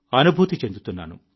అనుభూతి చెందుతున్నాను